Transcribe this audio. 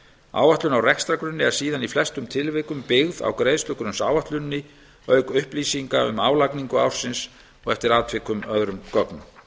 áætlun á rekstrargrunni er síðan í flestum tilvikum byggð á greiðslugrunnsáætluninni auk upplýsinga um álagningu ársins og eftir atvikum öðrum gögnum